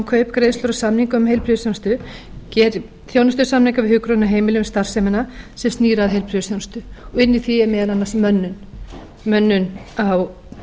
kaup greiðslur og samninga um heilbrigðisþjónustu geri þjónustusamninga við hjúkrunarheimili um starfsemina sem snýr að heilbrigðisþjónustu og inni í því er meðal annars mönnun á